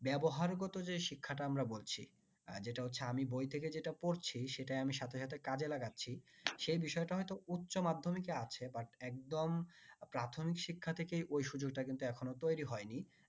ব্যবহার গত যে শিক্ষাটা আমরা বলছি যেটা হচ্ছে আমি বই থেকে যেটা পড়ছি সেটায় আমি সাথে সাথে কাজে লাগাচ্ছি সেই বিষয়টা হয়তো উচ্চ মাধ্যমিকে আছে but একদম প্রাথমিক শিক্ষা থেকে ওই সুযোগটা কিন্তু এখনও তৈরি হয়নি